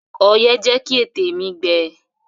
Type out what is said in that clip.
Ọyẹ́ jẹ́ kí ètè mi gbẹ.